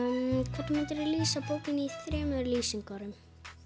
hvernig myndirðu lýsa bókinni í þremur lýsingarorðum